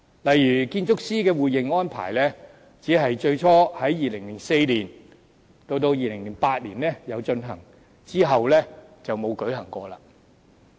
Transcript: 例如建築師的互認安排，只是最初在2004年至2008年進行，之後再沒有舉行過。